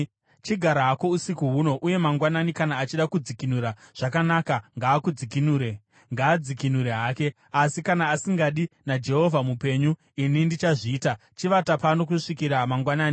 Chigara hako usiku huno, uye mangwanani kana achida kudzikinura, zvakanaka, ngaadzikinure hake. Asi kana asingadi, naJehovha mupenyu ini ndichazviita. Chivata pano kusvikira mangwanani.”